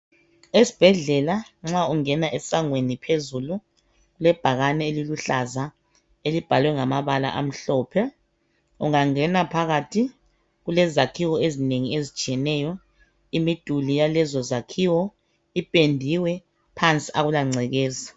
Esibhedlela nxa ungena esangweni phezulu kulebhakane eliluhlaza elibhalwe ngamabala amhlophe. Ungangena phakathi kulezakhiwo ezinengi ezitshiyeneyo, imiduli yalezi zakhiwo ipendiwe phansi akulangcekeza.